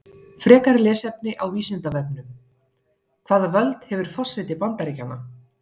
Frekara lesefni á Vísindavefnum: Hvaða völd hefur forseti Bandaríkjanna?